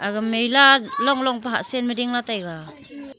aga mella long long pa hahsenma dingla taiga .